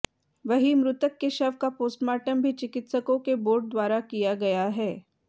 वहीं मृतक के शव का पोस्टमार्टम भी चिकित्सकों के बोर्ड द्वारा किया गया है